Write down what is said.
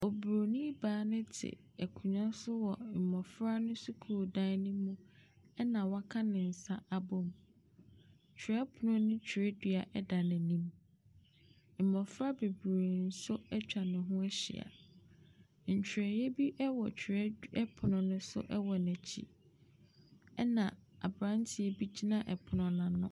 Oburoni baa no te akonnwa so wɔ mmofra no sukuu dan no mu. Ɛna waka ne nsa abɔ mu. Twerɛpon ne twerɛdua da n'anim. Mmofra bebree nso atwa ne ho ahyia. Ntwerɛ bi wɔ twerɛpon no so wɔ n'akyi. Ɛna abranteɛ bi gyina ɔpono no ano.